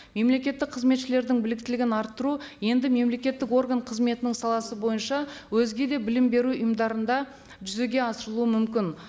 мемлекеттік қызметшілердің біліктілігін арттыру енді мемлекеттік орган қызметінің саласы бойынша өзге де білім беру ұйымдарында жүзеге асырылуы мүмкін